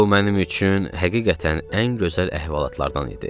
Bu mənim üçün həqiqətən ən gözəl əhvalatlardan idi.